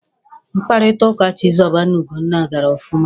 Mkpakọrịta ụka Chizoba na Ugonna ọ gara ọfụma?